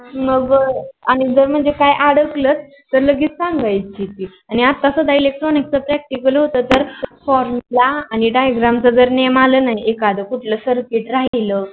मग आणि जर काही अडकल तर लगेच सांगायच की आणि आता सदा Electronic च practical होते तर formula आणि Diagram च जर name आल न एखाद Circuit राहील